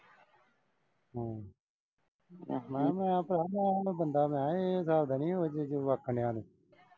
ਆਹੋ ਮੈਂ ਕਿਹਾ ਮੈਂ ਇਹੋ ਬੰਦਾ ਮਖਾਂ ਇਹ ਗੱਲ ਤਾਂ ਨਈਂ ਓਹੋ ਜਿਹੇ ਜਵਾਕਾਂ ਜਿਹ ਆਲੀ।